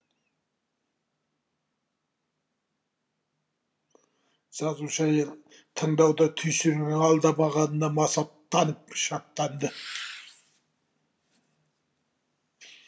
жазушы әйел тыңдауда түйсігінің алдамағанына масаттанып шаттанды